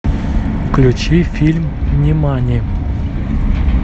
включи фильм нимани